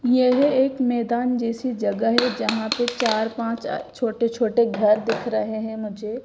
यह एक मैदान जैसी जगह है यहां पे चार पांच अह छोटे छोटे घर दिख रहे हैं मुझे।